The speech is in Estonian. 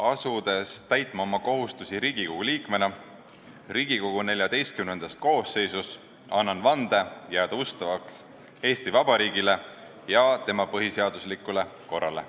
Asudes täitma oma kohustusi Riigikogu liikmena Riigikogu XIV koosseisus, annan vande jääda ustavaks Eesti Vabariigile ja tema põhiseaduslikule korrale.